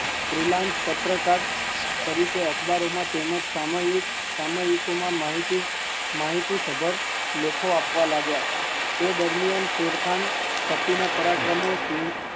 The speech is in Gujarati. પત્રકાર તેમજ અખબારો માં સામયિક માં માહિતી ભગત લેખો આપવા લાગ્યા, એ દરમિયાન લેખક